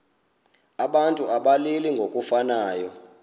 abantu abalili ngokufanayo